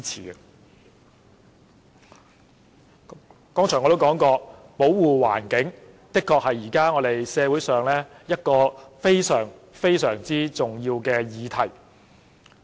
我剛才也說過，環境保護的確是現時社會上一項非常重要的議題。